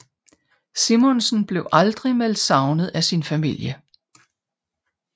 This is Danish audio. Simonsen blev aldrig meldt savnet af sin familie